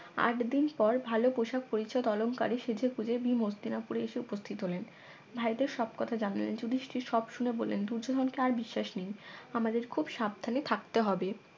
আটদিন পর ভালো পোষাক পরিচ্ছদ অলংকারে সেজে গুজে ভীম হস্তিনাপুরে এসে উপস্থিত হলেন ভাইদের সবকথা জানলেন যুধিস্টির সব শুনে বললেন দূর্যোধন কে আর বিশ্বাস নেই আমাদের খুব সাবধানে থাকতে হবে